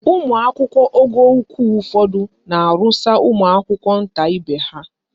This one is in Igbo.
Ụmụakwụkwọ ogo ukwu ụfọdụ na-arụsa ụmụakwụkwọ nta ibe ha.